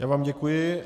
Já vám děkuji.